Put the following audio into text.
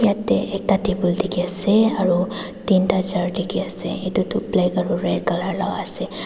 Yatheh ekta table dekhey ase aro tinta chair dekhey ase etu black aro red colour la ase.